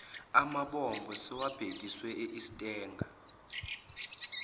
amabombo sebewabhekise estanger